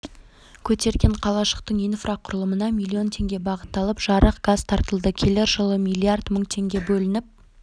көтерген қалашықтың инфрақұрылымына миллион теңге бағытталып жарық газ тартылды келер жылы миллиард мың теңге бөлініп